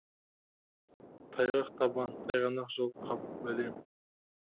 тайғақ табан тайғанақ жол қап бәлем